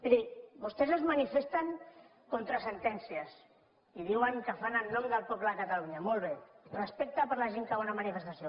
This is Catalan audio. miri vostès es manifesten contra sentències i diuen que ho fan en nom del poble de catalunya molt bé respecte per la gent que va a una manifestació